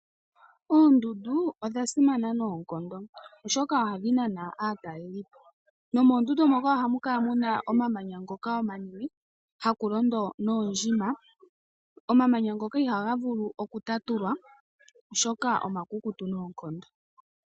Oondundu odha simana noonkondo oshoka ohadhi nana aatalelipo nomoondundu moka ohamukala muna omamanya ngoka omanene hakulondo noondjima ,omamanya ngoka ihaga vulu okutatulwa oshoka omakukutu noonkondo.